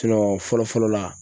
sinɔn fɔlɔ fɔlɔ la